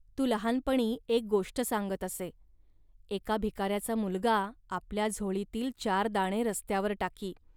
तू लहानपणी एक गोष्ट सांगत असे. एका भिकाऱ्याचा मुलगा आपल्या झोळीतील चार दाणे रस्त्यावर टाकी